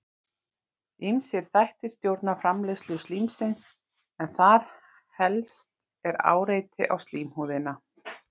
ýmsir þættir stjórna framleiðslu slímsins en þar helst er áreiti á slímhúðina